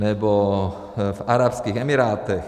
Nebo v Arabských Emirátech.